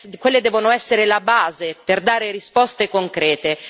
quelle devono essere la base per dare risposte concrete.